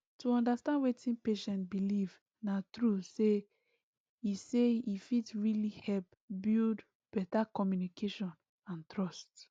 to understand wetin patient believe na true say he say he fit really help build better communication and trust